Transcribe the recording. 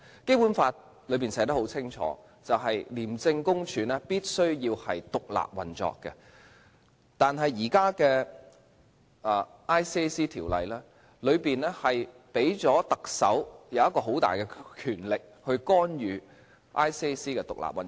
《基本法》清楚訂明，廉政公署必須獨立運作，但現行的《廉政公署條例》，賦予特首很大的權力，去干預廉政公署的獨立運作。